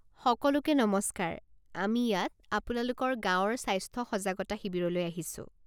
সকলোকে নমস্কাৰ, আমি ইয়াত আপোনালোকৰ গাঁৱৰ স্বাস্থ্য সজাগতা শিবিৰলৈ আহিছোঁ।